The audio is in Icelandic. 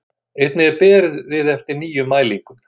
Einnig er beðið eftir nýjum mælingum